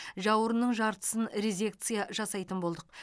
жауырынның жартысын резекция жасайтын болдық